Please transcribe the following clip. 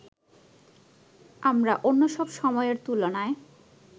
আমরা অন্যসব সময়ের তুলনায়